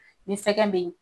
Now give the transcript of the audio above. Nin sɛgɛn be yen